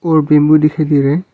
और बिम्बु दिखाई दे रहा है।